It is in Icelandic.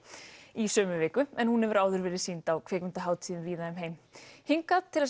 í sömu viku en hún hefur áður verið sýnd á kvikmyndahátíðum víða um heim hingað til